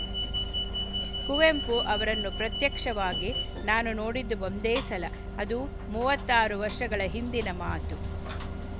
ಕುವೆಂಪು ಅವರನ್ನು ಪ್ರತ್ಯಕ್ಷವಾಗಿ ನಾನು ನೋಡಿದ್ದು ಒಂದೇ ಸಲಅದು ಮೂವತ್ತರು ವರ್ಷಗಳ ಹಿಂದಿನ ಮಾತು